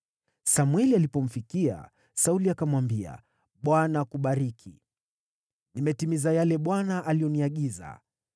Samweli alipomfikia, Sauli akamwambia, “ Bwana akubariki! Nimetimiza yale Bwana aliniagiza.”